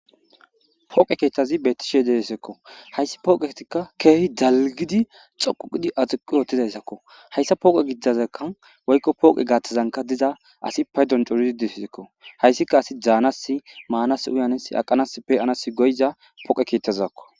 Pooqe keettazi bettishe deesekko hayssi pooqetika keehi dalgidi xoquqidi axuqu otizayssakko hayssa pooqe gididazeka woykko pooqe gaaththazanka diza asi paydon coridi dissekko hayssika asi daanas maanas uyanes aqanas peqanas goyza poqe keetazzakko.